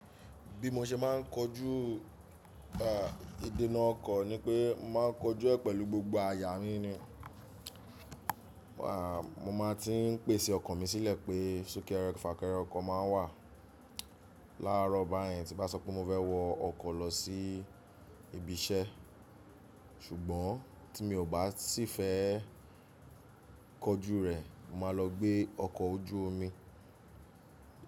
Bí mo ṣe máa ń kojú, ìdènà ọkọ̀ ni pé mo máa ń kojú ẹ̀ pẹ̀lu gbogbo àyà mí ni. Mo máa ti ń pèsè ọkọ̀ mi sílẹ̀ pé súnkẹrẹ fàkẹrẹ ọkọ̀ máa ń wà. Láàárọ̀ bēyẹn tí bá sọ pé mo fẹ́ wọ ọkọ̀ lọ sí ibi iṣẹ́. Ṣùgbọ́n tí mi ò bá sì fẹ́ kojú rẹ̀, màá lọ gbé ọkọ̀ ojú omi.